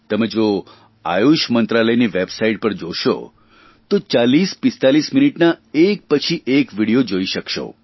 તમે જો આયુષ મંત્રાલયની વેબસાઇટ પર જશો તો 4045 મિનીટના એક પછી એક વિડીયો જોઇ શકશો